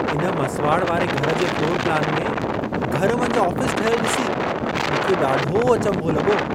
इन मसुवाड़ वारे घर जे फ्लोर प्लान में, घर मंझि आफ़ीसु ठहयलु ॾिसी मूंखे ॾाढो अचंभो लॻो।